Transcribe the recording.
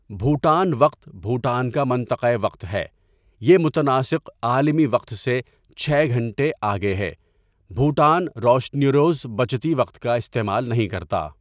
بھوٹان وقت بھوٹان کا منطقۂ وقت ہے یہ متناسق عالمی وقت سے چھ گھنٹے آگے ہے بھوٹان روشنیروز بچتی وقت کا استعمال نہیں کرتا.